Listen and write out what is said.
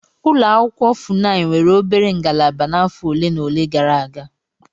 Ụlọ akwụkwọ Funai nwere obere ngalaba n'afọ ole na ole gara aga.